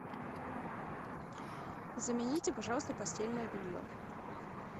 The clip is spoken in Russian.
замените пожалуйста постельное белье